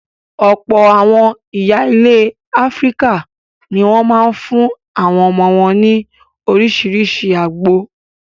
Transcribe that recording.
Ọ̀pọ̀ àwọn ìyá ilẹ̀ Áfíríkà ní wọ́n máa ń fún àwọn ọmọ wọn ní oríṣiríṣi àgbo.